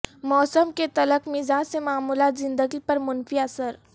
موسم کے تلخ مزاج سے معمولات زندگی پر منفی اثر